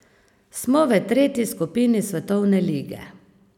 Smo v tretji skupini svetovne lige.